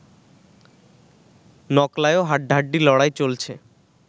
নকলায়ও হাড্ডাহাড্ডি লড়াই চলছে